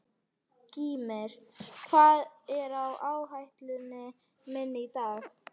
Gýmir, hvað er á áætluninni minni í dag?